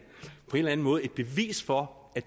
eller anden måde et bevis for